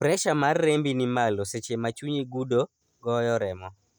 pressure mar rembi ni malo seche ma chunyi gudo, goyo remo